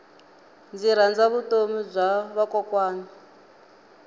ndzi rhandza vutomi bya vakokwana